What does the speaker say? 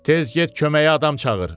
Tez get köməyə adam çağır.